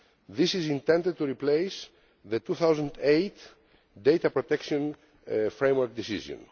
This is intended to replace the 2008 Data Protection Framework Decision.